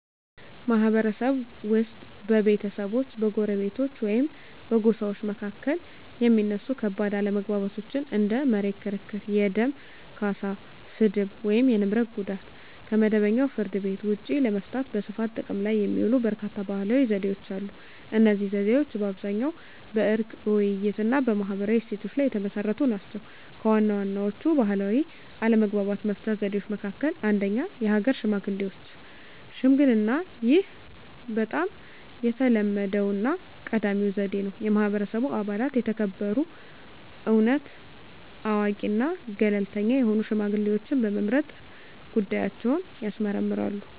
ማህበረሰብ ውስጥ በቤተሰቦች፣ በጎረቤቶች ወይም በጎሳዎች መካከል የሚነሱ ከባድ አለመግባባቶችን (እንደ መሬት ክርክር፣ የደም ካሳ፣ ስድብ፣ ወይም የንብረት ጉዳት) ከመደበኛው ፍርድ ቤት ውጭ ለመፍታት በስፋት ጥቅም ላይ የሚውሉ በርካታ ባህላዊ ዘዴዎች አሉ። እነዚህ ዘዴዎች በአብዛኛው በዕርቅ፣ በውይይት፣ እና በማህበራዊ እሴቶች ላይ የተመሰረቱ ናቸው። ከዋና ዋናዎቹ ባህላዊ አለመግባባት መፍቻ ዘዴዎች መካከል - 1. የሀገር ሽማግሌዎች ሽምግልናይህ በጣም የተለመደውና ቀዳሚው ዘዴ ነው። የማህበረሰቡ አባላት የተከበሩ፣ እውነት አዋቂ እና ገለልተኛ የሆኑ ሽማግሌዎችን በመምረጥ ጉዳያቸውን ያስመርምራሉ።